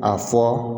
A fɔ